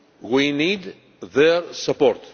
We need their support.